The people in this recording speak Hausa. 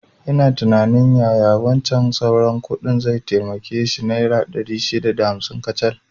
Ina tunanin yaya wancan sauran kuɗin zai taimake shi, naira ɗari shida da hamsin ne kacal